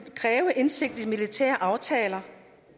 kræve indsigt i militære aftaler